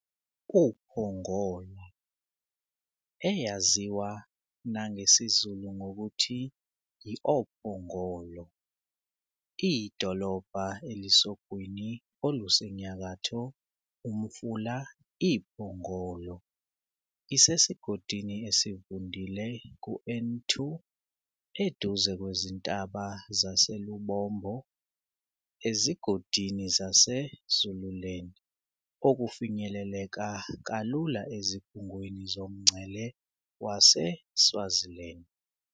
uPongola, eyaziwa nangesiZulu ngokuthi i-oPhongolo, iyidolobhaelisogwini olusenyakatho UMfula iPhongolo, isesigodini esivundile ku-N2, eduze kwezintaba zaseLubombo, ezigodini zaseZululand, okufinyeleleka kalula ezikhungweni zomngcele waseSwaziland.